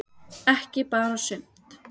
Ekki bara sumt.